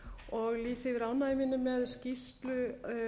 og lýsi yfir ánægju minni með skýrslu